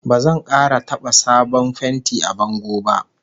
Ba zan kara taba sabon fenti a bango ba!